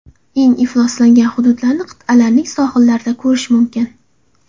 Eng ifloslangan hududlarni qit’alarning sohillarida ko‘rish mumkin.